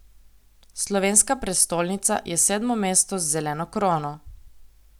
Slovenska prestolnica je sedmo mesto z zeleno krono.